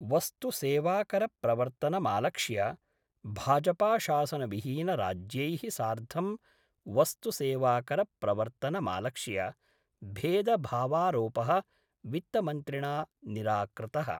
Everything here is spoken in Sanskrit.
वस्तुसेवाकरप्रवर्तनमालक्ष्य भाजपाशासनविहीनराज्यैः सार्धं वस्तु सेवाकरप्रवर्तनमालक्ष्य भेदभावारोप: वित्तमन्त्रिणा निराकृत:।